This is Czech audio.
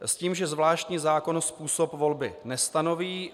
s tím, že zvláštní zákon způsob volby nestanoví.